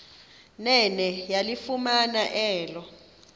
nene yalifumana elo